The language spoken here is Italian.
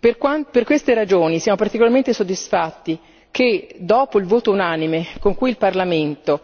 Per queste ragioni siamo particolarmente soddisfatti che, dopo il voto unanime con cui il Parlamento